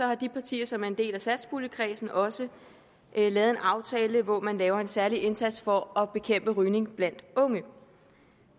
har de partier som er en del af satspuljekredsen også lavet en aftale hvor man laver en særlig indsats for at bekæmpe rygning blandt unge